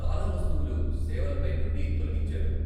చాలా వస్తువులు సేవలపై నుండి తొలగించారు.